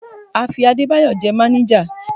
A fi Adébáyọ̀ jẹ máníjà.